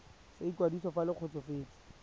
sa ikwadiso fa le kgotsofetse